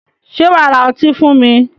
Sé wà á ra ọtí fún mi?